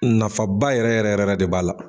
Nafaba yɛrɛ yɛrɛ yɛrɛ de b'a la.